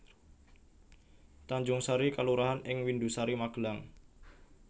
Tanjungsari kelurahan ing Windusari Magelang